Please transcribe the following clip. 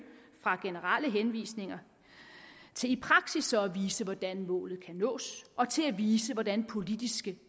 fra generelle henvisninger til i praksis at vise hvordan målet kan nås og til at vise hvordan politiske